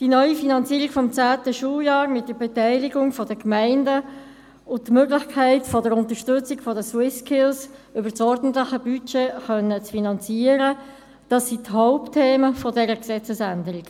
Die neue Finanzierung des zehnten Schuljahrs mit Beteiligung der Gemeinden und die Möglichkeit, eine Unterstützung der SwissSkills über das ordentliche Budget finanzieren zu können, dies sind die Hauptthemen dieser Gesetzesänderung.